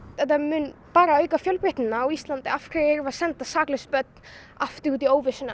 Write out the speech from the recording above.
þetta mun bara auka fjölbreytnina á Íslandi af hverju erum við að senda saklaus börn aftur út í óvissuna